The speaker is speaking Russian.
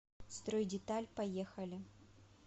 стройдеталь поехали